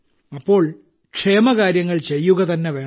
അപ്പോൾ ക്ഷേമകാര്യങ്ങൾ ചെയ്യുകതന്നെ വേണം